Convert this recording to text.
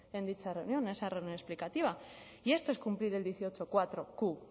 en dicha reunión en esa reunión explicativa y esto es cumplir el dieciocholauq